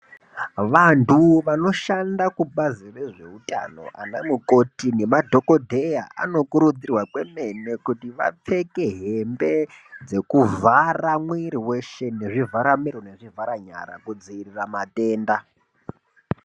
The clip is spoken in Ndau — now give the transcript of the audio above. Vantu vanoshanda kubazi rezveutano ana mukoti nemadhokodheya vanokurudzirwa kwemene kuti vapfeke hembe dzekuvhara mwiri weshe nezvivhara miro nezvivhara nyara kudzivirira matenda.